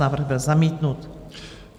Návrh byl zamítnut.